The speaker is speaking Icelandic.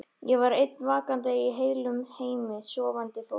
Ég var ein vakandi í heilum heimi sofandi fólks.